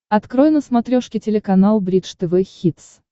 открой на смотрешке телеканал бридж тв хитс